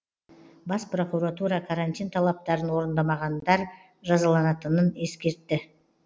бас прокуратура карантин талаптарын орындамағандар жазаланатынын ескертті